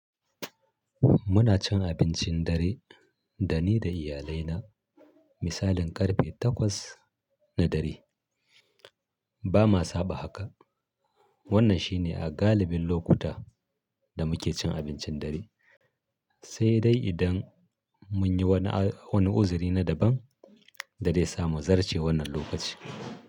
Muna cin abincin dare da ni da iyalai na misalin ƙarfe takwas na dare. Ba ma saba haka. Wannan shine a galibin lokuta da muke cin abincin dare, sai dai idan mun yi wani, wani uzuri na daban da zai sa mu zarce wannan lokaci.